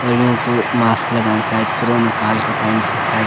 और यूँ कु मास्क लगायुं शायद कोरोना काल का टाइम क शायद।